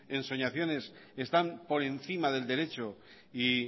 ensoñaciones están por encima del derecho y